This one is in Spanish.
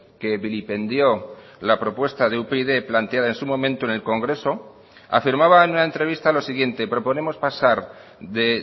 que vilipendió la propuesta de upyd planteada en su momento en el congreso afirmaba en una entrevista lo siguiente proponemos pasar de